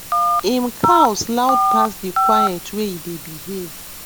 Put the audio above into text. em cows loud pass the quiet wey e dey behave